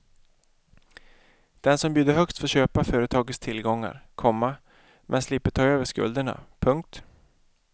Den som bjuder högst får köpa företagets tillgångar, komma men slipper ta över skulderna. punkt